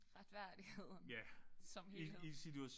Retfærdigheden. Som helhed